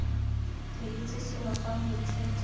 re itse seno fa moithuti